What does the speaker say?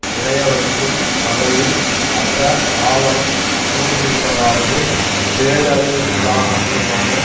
உறையவைக்கும் வகையில் அந்த ஆவணம் கூறியிருப்பதாவது பேரழிவிற்க்காரமான